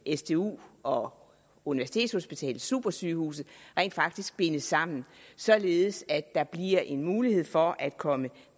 sdu og universitetshospitalet supersygehuset rent faktisk bindes sammen således at der bliver en mulighed for at komme